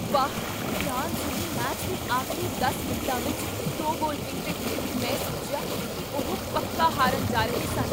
ਵਾਹ! ਫਰਾਂਸ ਨੇ ਮੈਚ ਦੇ ਆਖਰੀ ਦਸ ਮਿੰਟਾਂ ਵਿੱਚ ਦੋ ਗੋਲ ਕੀਤੇ! ਮੈਂ ਸੋਚਿਆ ਕੀ ਉਹ ਪੱਕਾ ਹਾਰਨ ਜਾ ਰਹੇ ਸਨ।